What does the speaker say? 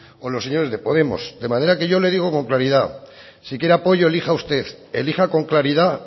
o los señores de podemos de manera que yo le digo con claridad si quiere apoyo elija usted elija con claridad